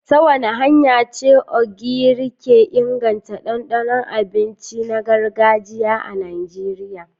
Ta wace hanya ce Ogiri ke inganta dandanon abincin gargajiya na Najeriya?